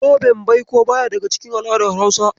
Zoben baiko baya daga cikin al'adar Hausa.